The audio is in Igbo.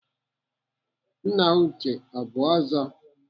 Nna Uche ọ bụ Ọzọ?